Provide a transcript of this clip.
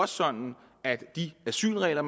sådan at de asylregler